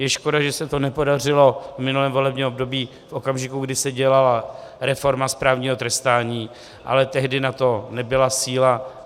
Je škoda, že se to nepodařilo v minulém volebním období v okamžiku, kdy se dělala reforma správního trestání, ale tehdy na to nebyla síla.